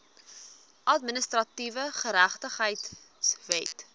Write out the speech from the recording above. administratiewe geregtigheid wet